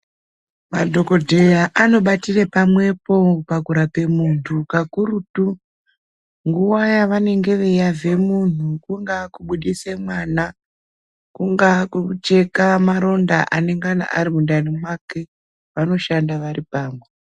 Madhokodheya anobatire pamwepo pakurape muntu kakurutu nguwa yavanenge veiyavhe munhu kungaa kubudise mwana kungaa kucheka maronda anonga arimundani mwake vanoshanda varipamwe.